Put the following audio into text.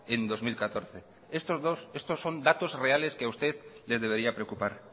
en bi mila hamalau estos son datos reales que a usted le debería preocupar